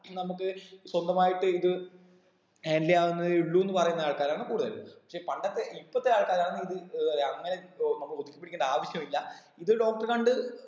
ഇത് നമുക്ക് സ്വന്തമായിട്ട് ഇത് handle ചെയ്യാവുന്നതേ ഉള്ളുന്ന് പറയുന്ന ആൾക്കാരാണ് കൂടുതൽ പക്ഷെ പണ്ടത്തെ ഇപ്പത്തെ ആൾക്കാരാണിത് ഏർ പറയാ അങ്ങനെ ഇപ്പൊ അമ്മക്ക് ഒതുക്കി പിടിക്കേണ്ട ആവശ്യമില്ല ഇത് doctor എ കണ്ട്